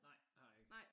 Nej det har jeg ikke